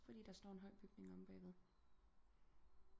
Fordi der står en høj bygning omme bag ved